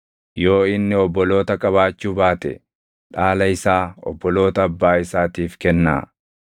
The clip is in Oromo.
Yoo inni obboloota qabaachuu baate dhaala isaa obboloota abbaa isaatiif kennaa.